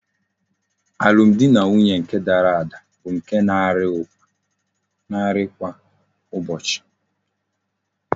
Alum di na nwunye nke dara ada bu nke na ari kwa ụbọchị.